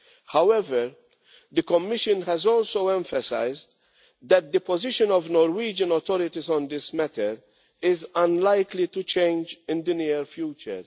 However, the Commission has also emphasised that the position of Norwegian authorities on this matter is unlikely to change in the near future.